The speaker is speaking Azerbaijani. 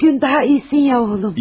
Bu gün daha yaxşısan ya oğlum.